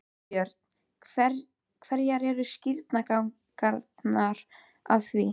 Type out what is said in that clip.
Þorbjörn: Hverjar eru skýringarnar á því?